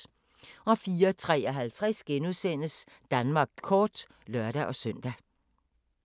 04:53: Danmark kort *(lør-søn)